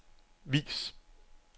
vis